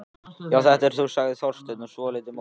Já, þetta ert þú sagði Þorsteinn, svolítið móður.